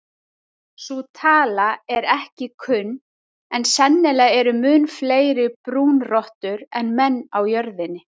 Sú tala er ekki kunn en sennilega eru mun fleiri brúnrottur en menn á jörðinni.